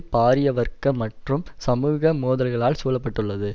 பாரிய வர்க்க மற்றும் சமூக மோதல்களால் சூழ பட்டுள்ளது